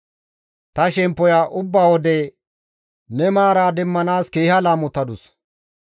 Ta shemppoya ubba wode ne maara demmanaas keeha laamotadus.